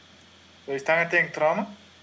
то есть таңертең тұрамын